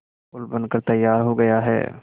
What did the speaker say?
पुल बनकर तैयार हो गया है